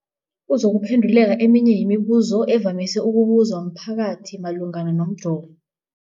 kuzokuphe nduleka eminye yemibu zo evamise ukubuzwa mphakathi malungana nomjovo.